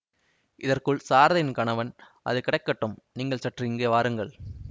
இதற்குள் சாரதையின் கணவன் அது கிடக்கட்டும் நீங்கள் சற்று இங்கே வாருங்கள்